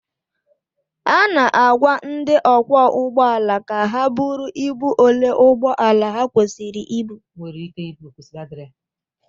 A na-agwa ndị ọkwọ ụgbọala ka ha buru ibu ole ụgbọ ala ha nwere ike ibu